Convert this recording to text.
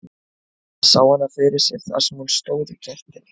Hann sá hana fyrir sér þar sem hún stóð í gættinni.